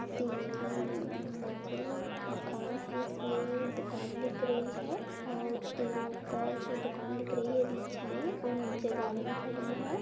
तीन उम्म मंजिल मकान है। इसमें दूकान दिख रही है और तीन ऊपर दुकान दिख रही है बीच में और नीचे गाड़ियां खड़ी है।